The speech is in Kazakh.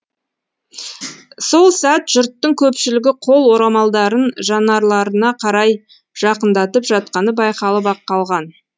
сол сәт жұрттың көпшілігі қол орамалдарын жанарларына қарай жақындатып жатқаны байқалып ақ қалған